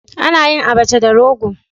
Ana yin Abacha da Rogo